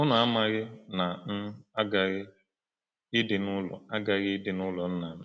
“Unu amaghi na m aghaghị ịdị n’ụlọ aghaghị ịdị n’ụlọ Nna m?”